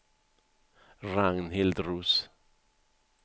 Ragnhild Roos